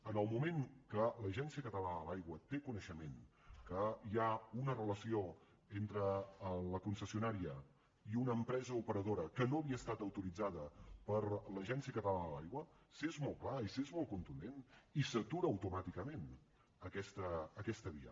en el moment que l’agència catalana de l’aigua té coneixement que hi ha una relació entre la concessionària i una empresa operadora que no havia estat autoritzada per l’agència catalana de l’aigua s’és molt clar i s’és molt contundent i s’atura automàticament aquesta via